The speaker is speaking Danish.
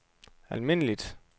almindeligt